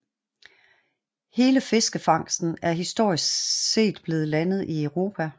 Hele fiskefangsten er historisk set blevet landet i Europa